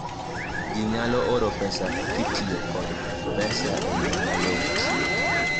ji nyalo oro pesa kitiyo kod m-pesa e yo mayot